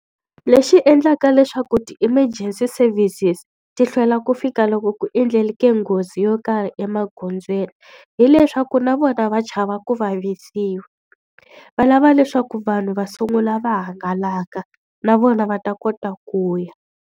Lexi endlaka leswaku ti-emergency services ti hlwela ku fika loko ku endleke nghozi yo karhi emagondzweni, hileswaku na vona va chava ku vavisiwa. Va lava leswaku vanhu va sungula va hangalaka na vona va ta kota ku ya.